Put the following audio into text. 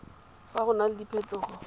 fa go na le diphetogo